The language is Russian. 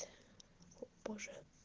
позже